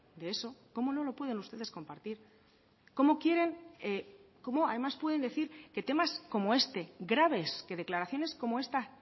de eso cómo no lo pueden ustedes compartir cómo quieren cómo además pueden decir que temas como este graves que declaraciones como esta